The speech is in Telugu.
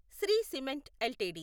Shri cement LTD